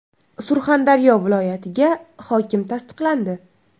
Surxondaryo viloyatiga hokim tasdiqlandi.